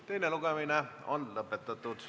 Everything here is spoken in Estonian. Teine lugemine on lõpetatud.